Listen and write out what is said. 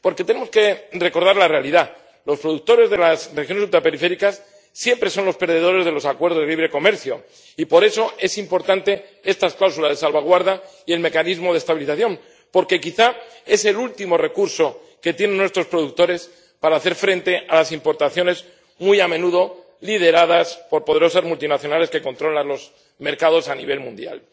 Porque tenemos que recordar la realidad los productores de las regiones ultraperiféricas siempre son los perdedores de los acuerdos de libre comercio y por eso son importantes estas cláusulas de salvaguarda y el mecanismo de estabilización, porque quizá es el último recurso que tienen nuestros productores para hacer frente a las importaciones, muy a menudo lideradas por poderosas multinacionales que controlan los mercados a nivel mundial.